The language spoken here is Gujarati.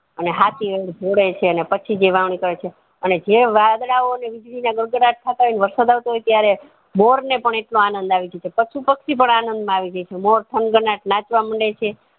અને હાતી જોડે છે ને પછી જે વાવણી કરે છે અને જે વાદળાઓ ની વીજળી ના ગગડત થતા હોય ને વરસાદ આવતો હોય ત્યારે મોર ને પણ એટલો આનંદ આવી જાય છે પશુ પક્ષી ઓ પણ આનંદ માં આવી જાય છે મોર થનગનાટ નાચવા માંડે છે